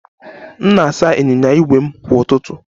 M na-asa ịnyịnya ígwè m kwa ụtụtụ